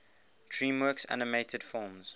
dreamworks animated films